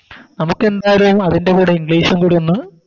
നമുക്കെന്താലും അതിൻറെ കൂടെ English കൂടി ഒന്ന്